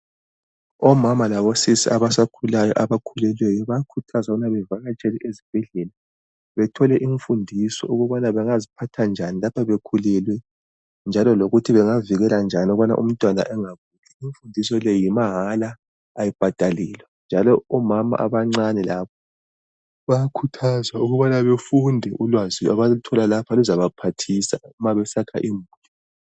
Omama labosisi abasakhulayo abakhulelweyo bayakhuthazwa ukubana bevakatshele ezibhedlela. Bethole imfundiso ukubana bengaziphatha njani laphana bekhulelwe njalo lokuthi bengazivikela njani ukubana umntwana engafi. Imfundiso le yimahala ayibhadalelwa njalo omama abancane labo bayakhuthazwa ukubana befunde ulwazi abaluthola lapha luzabaphathisa ma besakha imuli.